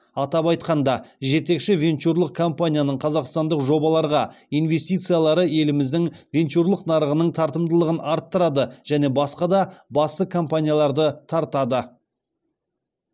атап айтқанда жетекші венчурлық компанияның қазақстандық жобаларға инвестициялары еліміздің венчурлық нарығының тартымдылығын арттырады және басқа да басты компанияларды тартады